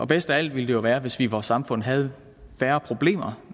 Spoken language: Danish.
bedst af alt ville det jo være hvis vi i vores samfund havde færre problemer